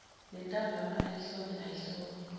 nentambama ayihlome ayihlome